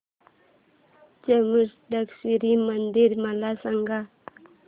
चामुंडेश्वरी मंदिर मला सांग